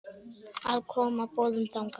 að koma boðum þangað.